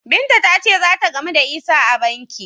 Binta ta ce za ta gamu da Isah a banki.